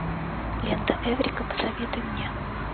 лента эврика посоветуй мне